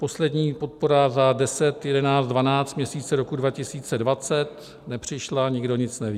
Poslední podpora za 10., 11., 12. měsíc roku 2020 nepřišla, nikdo nic neví.